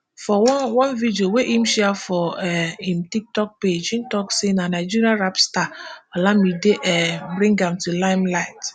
for one one video wey im share for um im tiktok page e tok say na nigeria rap star olamide um bring am to limelight